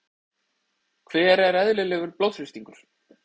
hver er eðlilegur blóðþrýstingur